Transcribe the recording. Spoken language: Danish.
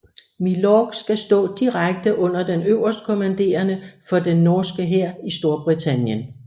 Milorg skal stå direkte under den øverstkommanderende for den norske hær i Storbritannien